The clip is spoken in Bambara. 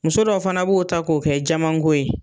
Muso dɔw fana b'o ta k'o kɛ jaman ko ye.